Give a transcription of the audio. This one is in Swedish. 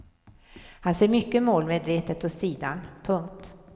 Han ser mycket målmedvetet åt sidan. punkt